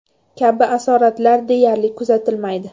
kabi asoratlar deyarli kuzatilmaydi.